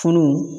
Funu